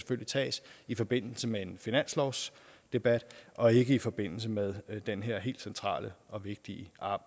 tages i forbindelse med en finanslovsdebat og ikke i forbindelse med den her helt centrale og vigtige